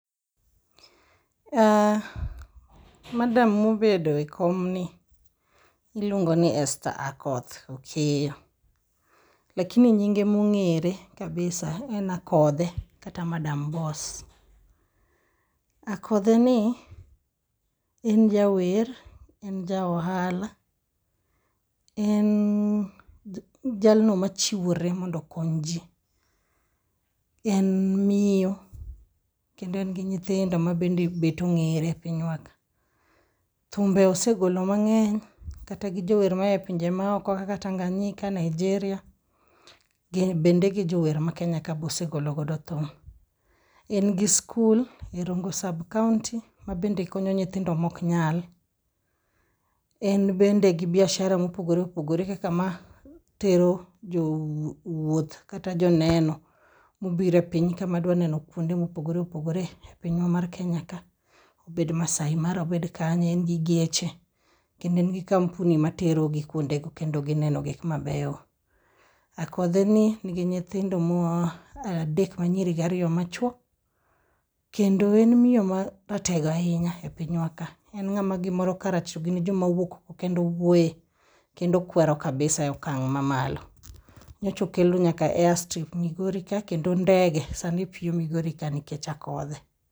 Ah, madam modedo e kom ni, iluongo ni Esther Akoth Okeyo. Lakini nyinge mong'ere kabisa en Akothee kata Madam Boss. Akothee ni en jawer, en ja ohala, en jalno machiwore mondo okony ji, en miyo kendo en gi nyithindo ma be bet ong'ere e pinywa ka. Thumbe osegolo mang'eny, kata gi jower maya e pinje maoko kaka Tanganyika, Nigeria, bende gi jower ma Kenya ka bosegologo thum. En gi skul e Rongo sub-county, mabende konyo nyithindo moknyal. En bende gi biashara mopogore opogore kaka ma tero jowuoth kata joneno mobire pinyka madwa neno kwonde mopogre opogre e pinywa mar Kenya ka, obed Maasai Mara obed kanye, en gi geche, kendo en gi kampuni materogi kwondego kendo gineno gik mabeyo. Akothee ni nigi nyithindo adek manyiri gariyo machwo, kedno en miyo maratego ahinya e pinywa ka. En ng'ama gimor karach togin e joma wuok oko kendo wuoye, kendo kwero kabisa e okang' mamalo. Nyochokelo nyaka airstrip Migori ka kendo ndege sani piyo Migori ka nikech Akothee.